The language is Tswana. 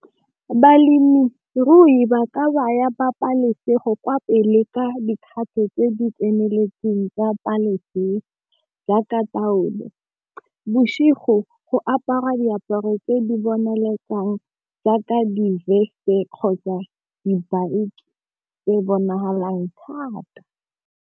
Balemirui ba ka baya pabalesego kwa pele ka dikgatho tse di tseneletseng tsa jaaka taolo. Bosigo go apara diaparo tse di boneletsang jaaka di-vest-e kgotsa di e bonagalang thata.